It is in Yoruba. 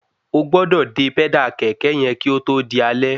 Ogbọ́dọ̀ dè pẹ́dà kẹ̀kẹ́ yẹn kí ótó di alẹ́